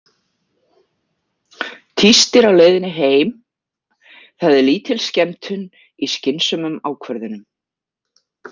Tístir á leiðinni heim: Það er lítil skemmtun í skynsömum ákvörðunum.